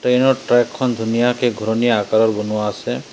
Train ৰ track খন ধুনীয়াকে ঘূৰণীয়া আকাৰৰ বনোৱা আছে।